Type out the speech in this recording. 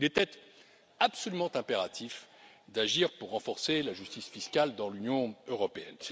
Il était absolument impératif d'agir pour renforcer la justice fiscale dans l'Union européenne.